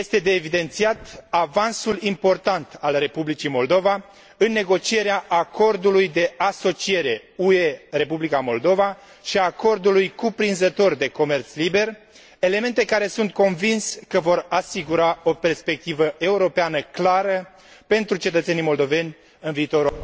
Este de evidențiat avansul important al Republicii Moldova în negocierea Acordului de asociere UE Republica Moldova și a Acordului cuprinzător de comerț liber, elemente care sunt convins că vor asigura o perspectivă europeană clară pentru cetățenii moldoveni în viitorul...